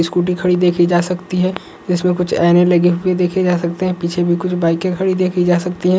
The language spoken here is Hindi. स्कूटी खड़ी देखी जा सकती है | इसमें कुछ एने लगे हुए देखे जा सकते हैं | पीछे भी कुछ बाइकें खड़ी देखी जा सकती हैं।